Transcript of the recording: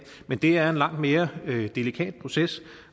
men det er en langt mere delikat proces